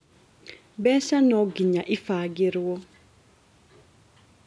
Mbeca nonginya ibagĩrwo